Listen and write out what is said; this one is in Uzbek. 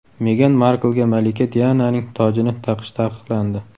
Megan Marklga malika Diananing tojini taqish taqiqlandi.